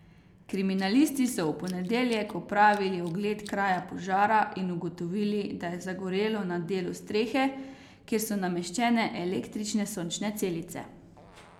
Kriminalisti so v ponedeljek opravili ogled kraja požara in ugotovili, da je zagorelo na delu strehe, kjer so nameščene električne sončne celice.